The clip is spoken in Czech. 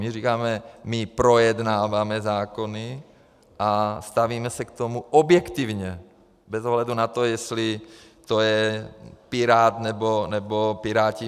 My říkáme: my projednáváme zákony a stavíme se k tomu objektivně bez ohledu na to, jestli to je pirát, nebo Piráti.